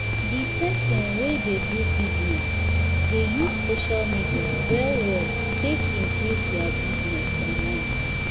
the person wey dey do bussiness dey use social media well well take increase their bussiness online